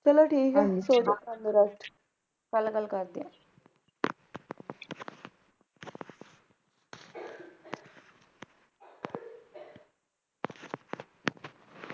ਚਲੋ ਠੀਕ ਹੈ ਸੋਂ ਜੋਂ ਕਰਲੋ Rest ਕਲ ਗੱਲ ਕਰਦੇ ਹਾਂ